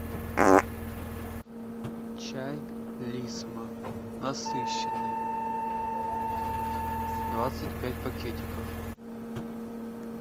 чай лисма насыщенный двадцать пять пакетиков